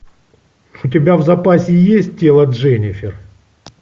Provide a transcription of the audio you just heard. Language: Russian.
у тебя в запасе есть тело дженифер